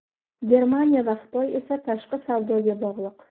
Germaniya va Xitoy esa tashqi savdoga bog‘liq.